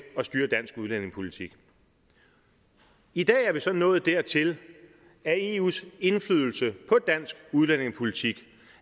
at styre dansk udlændingepolitik i dag er vi så nået dertil at eus indflydelse på dansk udlændingepolitik